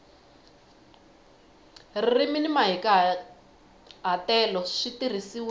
ririmi ni mahikahatelo swi tirhisiwile